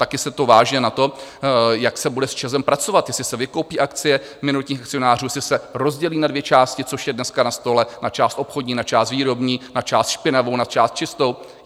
Taky se to váže na to, jak se bude s ČEZem pracovat, jestli se vykoupí akcie minoritních akcionářů, jestli se rozdělí na dvě části, což je dneska na stole, na část obchodní, na část výrobní, na část špinavou, na část čistou.